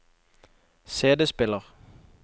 CD-spiller